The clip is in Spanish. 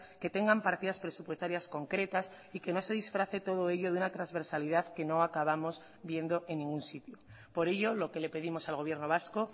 que tengan partidas presupuestarias concretas y que no se disfrace todo ello de una transversalidad que no acabamos viendo en ningún sitio por ello lo que le pedimos al gobierno vasco